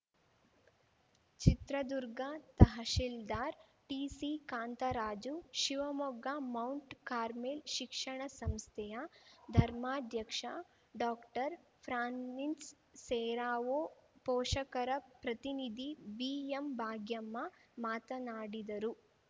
Chitradurga tahsildar T C Kantharaju Shivamogga Mount Carmel ಶಿಕ್ಷಣ ಸಂಸ್ಥೆಯ ಧರ್ಮಾಧ್ಯಕ್ಷ ಡಾಕ್ಟರ್ಫ್ರಾನ್ಸಿಸ್‌ ಸೆರಾವೋ ಪೋಷಕರ ಪ್ರತಿನಿಧಿ ಬಿಎಂಭಾಗ್ಯಮ್ಮ ಮಾತನಾಡಿದರು